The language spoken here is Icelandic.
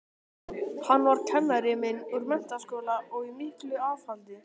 Hann var kennari minn úr menntaskóla og í miklu afhaldi.